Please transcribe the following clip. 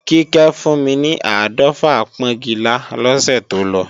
Kíkẹ́ fún mi ni áàdọ́fà pọ́ńgilá lọ́sẹ̀ tó lọ